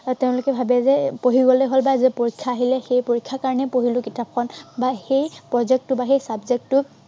আৰু তেওঁলোকে ভাৱে যে পঢ়ি গ'লেই হ'ল বা এৰ পৰীক্ষা আহে বা সেই পৰীক্ষাৰ কাৰণেহে পঢ়িলে কিতাপখন বা সেই project টো বা সেই subject টো